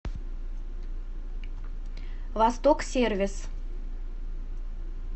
восток сервис